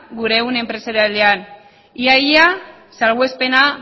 gure ehun enpresarialean ia ia salbuespena